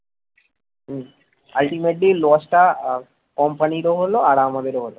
ultimately loss টা ah company রও হল আমাদেরও হল